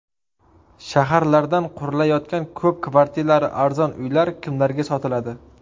Shaharlarda qurilayotgan ko‘p kvartirali arzon uylar kimlarga sotiladi?.